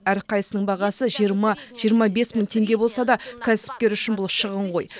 әрқайсысының бағасы жиырма жиырма бес мың теңге болса да кәсіпкер үшін бұл шығын ғой